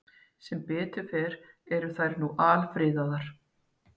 Sem betur fer eru þær nú alfriðaðar.